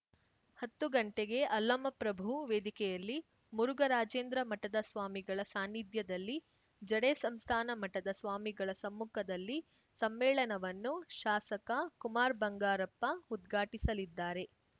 ಹತ್ತು ಗಂಟೆಗೆ ಅಲ್ಲಮ ಪ್ರಭು ವೇದಿಕೆಯಲ್ಲಿ ಮುರುಘರಾಜೇಂದ್ರ ಮಠದ ಸ್ವಾಮಿಗಳ ಸಾನ್ನಿಧ್ಯದಲ್ಲಿ ಜಡೆ ಸಂಸ್ಥಾನ ಮಠದ ಸ್ವಾಮಿಗಳ ಸಮ್ಮುಖದಲ್ಲಿ ಸಮ್ಮೇಳನವನ್ನು ಶಾಸಕ ಕುಮಾರ್‌ ಬಂಗಾರಪ್ಪ ಉದ್ಘಾಟಿಸಲಿದ್ದಾರೆ